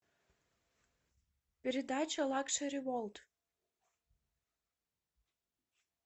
передача лакшери ворлд